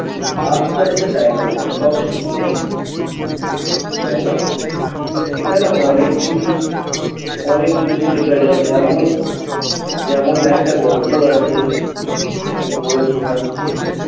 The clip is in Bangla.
আস্তে আস্তে time লাগে সব শিখে যাবে তাই না? এখানে অনেক কিছু অনেককিছু শেখা যায় যেমন যেমন একটা গল্প আছে আমি পড়ে শুনাচ্ছি